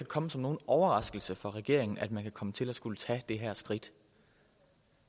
komme som nogen overraskelse for regeringen at man kunne komme til at skulle tage det her skridt